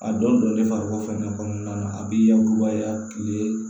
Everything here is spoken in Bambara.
A dɔw don ne farikolo fɛnɛ kɔnɔna na a bi yakubaya kile